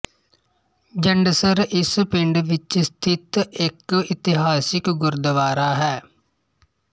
ਜੰਡਸਰ ਇਸ ਪਿੰਡ ਵਿੱਚ ਸਥਿਤ ਇੱਕ ਇਤਿਹਾਸਿਕ ਗੁਰੂਦਵਾਰਾ ਹੈ